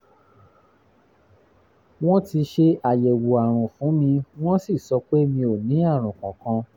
wọ́n ti ṣe àyẹ̀wò àrùn fún mi wọ́n sì sọ pé mi ò ní àrùn kankan